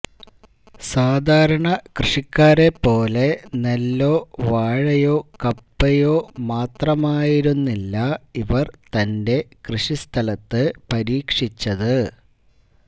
സാധാരണ കൃഷിക്കാരെപ്പോലെ നെല്ലോ വാഴയോ കപ്പയോ മാത്രമായിരുന്നില്ല ഇവര് തന്റെ കൃഷിസ്ഥലത്ത് പരീക്ഷിച്ചത്